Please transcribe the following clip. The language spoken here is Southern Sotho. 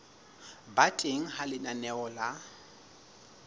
ba teng ha lenaneo la